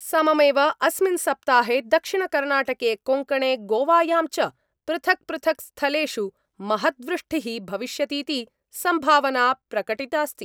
सममेव अस्मिन् सप्ताहे दक्षिणकर्णाटके कोङ्कणे गोवायां च पृथक् पृथक् स्थलेषु महद्वृष्टि: भविष्यतीति संभावना प्रकटितास्ति।